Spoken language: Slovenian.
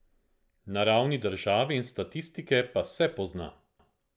Na ravni države in statistike pa se pozna.